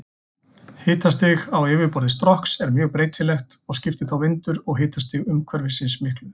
Hitastig á yfirborði Strokks er mjög breytilegt og skiptir þá vindur og hitastig umhverfisins miklu.